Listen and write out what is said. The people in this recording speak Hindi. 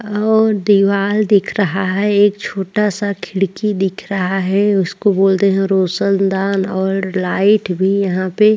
और दिवार दिख रहा है एक छोटासा खिड़की दिख रहा है उसको बोलते है रोशनदान और लाइट भी यहापे --